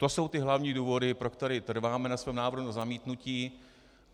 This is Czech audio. To jsou ty hlavní důvody, pro které trváme na svém návrhu na zamítnutí.